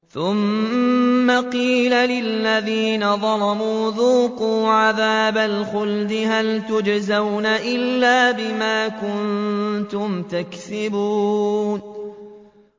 ثُمَّ قِيلَ لِلَّذِينَ ظَلَمُوا ذُوقُوا عَذَابَ الْخُلْدِ هَلْ تُجْزَوْنَ إِلَّا بِمَا كُنتُمْ تَكْسِبُونَ